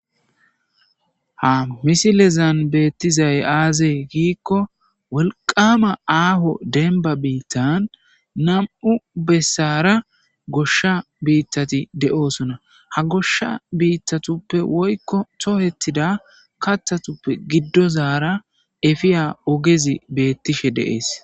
Ha misilezan beettizay aazee giikko wolqama aafo denba biittan nam7u bessara goshsha biittati de7oosona ha goshsha biittatuppe woykko tohetida kathatuppe giddozaara efiya ogezi beettishe deees